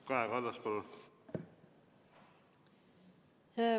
Kaja Kallas, palun!